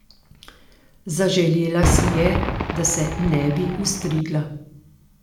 Zaželela si je, da se ne bi ostrigla.